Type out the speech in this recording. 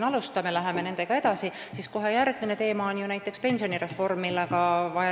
Kui me läheme nendega edasi, siis järgmine teema on näiteks pensionireform, millega tehakse edasi vajalikke muudatusi.